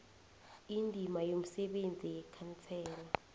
indima yomsebenzi yekhansela